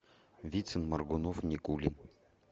вицин моргунов никулин